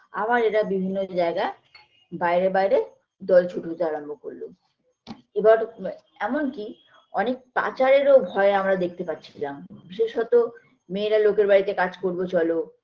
আবার এরা বিভিন্ন জায়গা বাইরে বাইরে দল ছুটতে আরম্ভ করলো এবার ম এমনকি অনেক পাচারের ও ভয় আমরা দেখতে পাচ্ছিলাম বিশেষত মেয়েরা লোকের বাড়িতে কাজ করবে চলো